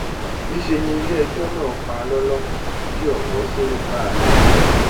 níṣẹ ni iléẹjọ náà pa lọlọ tí ọpọ sì ń káàánú rẹ